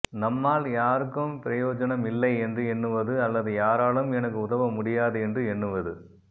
நம்மால் யாருக்கும் பிரயோஜனம் இல்லை என்று எண்ணுவது அல்லது யாராலும் எனக்கு உதவ முடியாது என்று எண்ணுவது